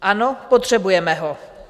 Ano, potřebujeme ho.